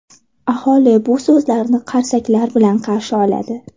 Aholi bu so‘zlarni qarsaklar bilan qarshi oladi.